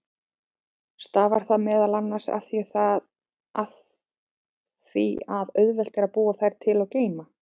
Stafar það meðal annars af því að auðvelt er að búa þær til og geyma.